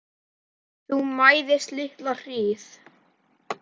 Þú mæðist litla hríð.